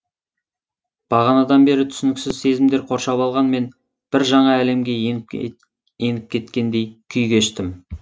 бағанадан бері түсініксіз сезімдер қоршап алған мен бір жаңа әлемге еніп кеткендей күй кештім